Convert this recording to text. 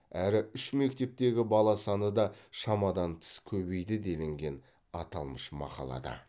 әрі үш мектептегі бала саны да шамадан тыс көбейді делінген аталмыш мақалада